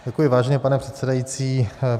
Děkuji, vážený pane předsedající.